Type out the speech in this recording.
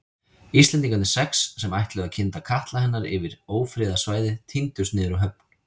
Íslendingarnir sex, sem ætluðu að kynda katla hennar yfir ófriðarsvæðið tíndust niður á höfn.